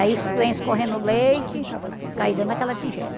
Aí es vem escorrendo o leite, cai dentro daquela tigela.